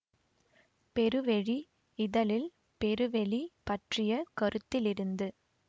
பெருவெளி இதழில் பெருவெளி பற்றிய கருத்திலிருந்து